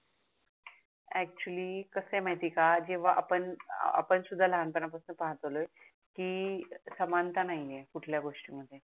actually कस आहे माहिती आहे का जेव्हा आपण आपण सुद्धा लहान पणापासून पाहत आलोय आहे की समानता नाही आहे कुठल्या गोष्टी मध्ये